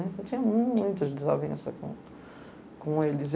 Eu tinha muitas desavenças com, com eles.